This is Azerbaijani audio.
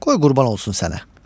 Qoy qurban olsun sənə.